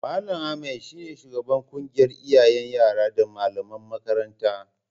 Mal. Ahmad ne shugaban ƙungiyar iyayen yara da malaman makarantar